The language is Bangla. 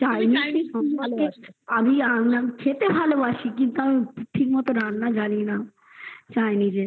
chinese আমাকে আমি খেতে ভালোবাসি কিন্তু আমাকে ঠিক মতন রান্না জানি না chinese